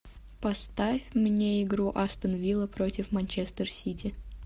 поставь мне игру астон вилла против манчестер сити